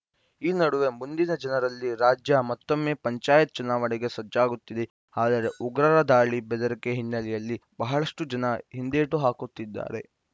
ಈ ನಡುವೆ ಮುಂದಿನ ಜನರಲ್ಲಿ ರಾಜ್ಯ ಮತ್ತೊಮ್ಮೆ ಪಂಚಾಯತ್‌ ಚುನಾವಣೆಗೆ ಸಜ್ಜಾಗುತ್ತಿದೆ ಆದರೆ ಉಗ್ರರ ದಾಳಿ ಬೆದರಿಕೆ ಹಿನ್ನೆಲೆಯಲ್ಲಿ ಬಹಳಷ್ಟುಜನ ಹಿಂದೇಟು ಹಾಕುತ್ತಿದ್ದಾರೆ